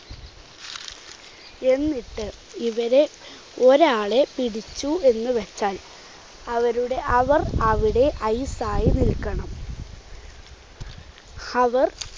എന്നിട്ട് ഇവരെ ഒരാളെ പിടിച്ചു എന്നുവെച്ചാൽ അവരുടെ അവർ അവിടെ ice യി നിൽക്കണം. അവർ